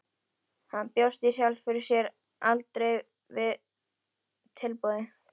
Hann bjóst í sjálfu sér aldrei við tilboði.